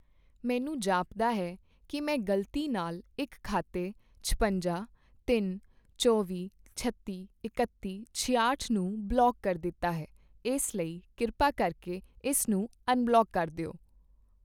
ਮੈਨੂੰ ਜਾਪਦਾ ਹੈ ਕੀ ਮੈਂ ਗ਼ਲਤੀ ਨਾਲ ਇੱਕ ਖਾਤੇ ਛਪੰਜਾ, ਤਿੰਨ, ਚੌਵੀਂ, ਛੱਤੀ, ਇਕੱਤੀ, ਛਿਆਹਠ ਨੂੰ ਬਲੌਕ ਕਰ ਦਿੱਤਾ ਹੈ, ਇਸ ਲਈ ਕਿਰਪਾ ਕਰਕੇ ਇਸ ਨੂੰ ਅਨਬਲੌਕ ਕਰ ਦਿਓ।